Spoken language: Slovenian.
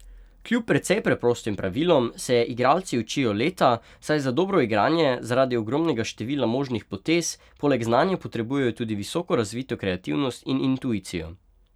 Kljub precej preprostim pravilom se je igralci učijo leta, saj za dobro igranje zaradi ogromnega števila možnih potez poleg znanja potrebujejo tudi visoko razvito kreativnost in intuicijo.